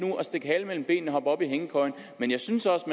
stikke halen mellem benene og hoppe op i hængekøjen men jeg synes også